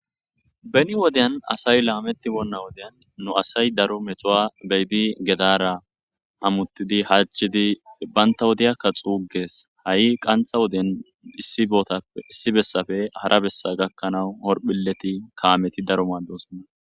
beni wodyan asay laametti wonna wodeyan nu asay daro metowa beyidi gedara amuttidi hachidi banta wodiyakka xuugees ha7i qanxa woden issi bootappe issi bessafe hara bessa gakkanawu horphileti kaameti daro maadosonna